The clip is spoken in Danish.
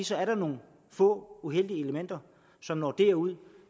så er der nogle få uheldige elementer som når derud